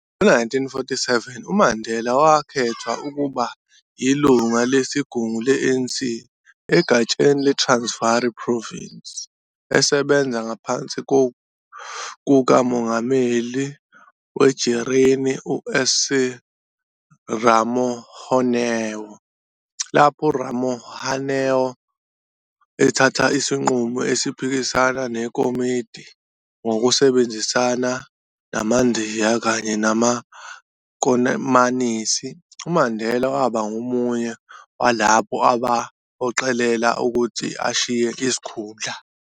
Ngo-1947, uMandela wakhethwa ukuba yilungu lesigungu le-ANC egatsheni le-Transvaal Province esebenza ngaphansi kukamongameli werijini, uC. S Ramohanoe. Lapho uRamohanoe ethatha isinqumo esiphikisana nekomidi, ngokusebenzisana namaNdiya kanye namakomanisi, uMandela waba ngomunye walabo abamphoqelela ukuthi ashiye isikhundla.